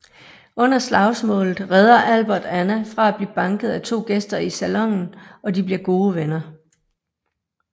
Under slagsmålet redder Albert Anna fra at blive banket af to gæster i salonen og de bliver gode venner